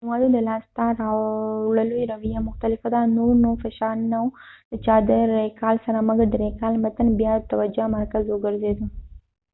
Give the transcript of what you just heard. د معلوماتو د لاس ته راوړلو رويه مختلفه وه نور نو فشار نه و د چا د ریکال سره مګر د ریکال متن بیا د توجه مرکز وګرځیده